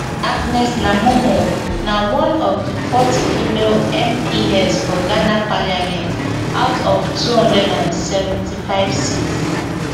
agnes naa momo na one of di forty female mps for ghana parliament out of two hundred and seventy-five seats